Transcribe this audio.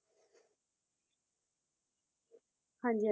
ਹਾਂਜੀ